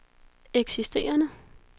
eksisterende